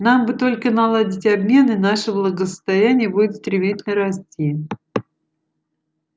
нам бы только наладить обмен и наше благосостояние будет стремительно расти